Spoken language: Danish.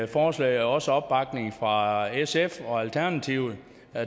forslaget også opbakning fra sf og alternativet